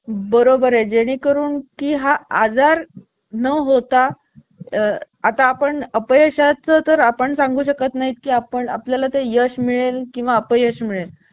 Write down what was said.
बरोबर आहे जेणेकरून की हा आजार न होता आता आपण अपयशा चा तर आपण सांगू शकत नाही की आपण आपल्या ला तर यश मिळेल किंवा अप यश मिळेल